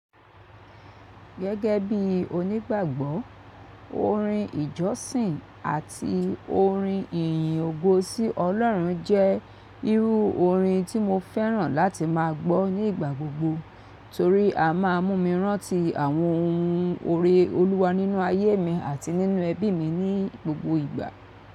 Gẹ́gẹ́ bí onígbàgbọ́, orin ìjọsìn àti orin ìyìn ògo sí Ọlọ́run jẹ́ irú orin tí mo fẹ́ràn láti má a gbọ́ ní ìgbà gbogbo torí a má a mú mi rántí àwọn ohun ore Olúwa nínú ayé mi àti nínú ẹbí mi ní gbogbo ìgbà.